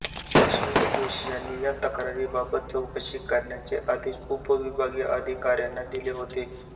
अश्विनी जोशी यांनी त्या तक्रारीबाबत चौकशी करण्याचे आदेश उपविभागीय अधिकाऱ्यांना दिले होते